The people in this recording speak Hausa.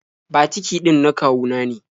Batiki ɗin na kawu na ne.